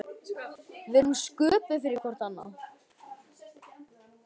Við erum sköpuð fyrir hvort annað.